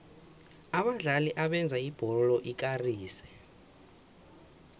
abadlali abenza ibholo ikarise